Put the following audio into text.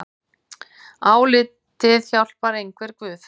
Altíð hjálpar einhver guð.